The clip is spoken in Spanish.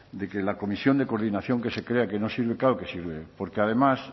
de que la comisión de coordinación que se crea que no sirve claro que sirve porque además